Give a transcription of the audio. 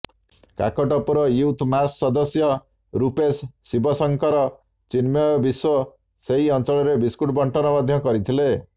Kakatpur youth ମାସ ସଦସ୍ୟ ରୂପେଶ ଶିବସଙ୍କର ଚିନ୍ମୟ ବିଶ୍ବ ସେହି ଅଂଚଳରେ ବିସ୍କୁଟ ବଣ୍ଟନ ମଧ୍ୟ କରିଥିଲେ